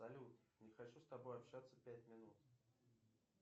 салют не хочу с тобой общаться пять минут